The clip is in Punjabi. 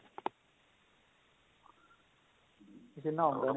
ਪਸੀਨਾ ਆਉਂਦਾ ਨੀਂ